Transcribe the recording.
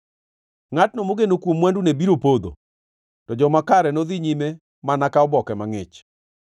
Ngʼatno mogeno kuom mwandune biro podho; to joma kare nodhi nyime mana ka oboke mangʼich.